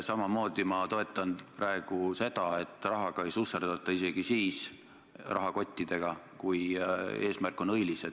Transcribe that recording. Samamoodi ma toetan praegu seda, et rahaga ja rahakottidega ei susserdata, isegi siis, kui eesmärk on õilis.